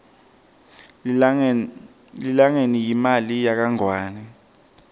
lilangeni yimali yakangwane